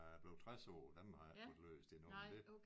Da jeg blev 60 år den har jeg ikke fået læst endnu men det